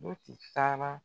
Moti sara